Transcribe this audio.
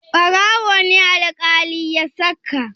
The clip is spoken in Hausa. Ɓarawo ne alƙali ya saka.